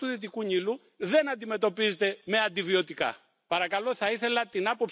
heute nicht auch diesen Teil der Debatte gehört hat.